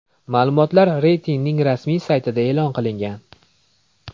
Ma’lumotlar reytingning rasmiy saytida e’lon qilingan .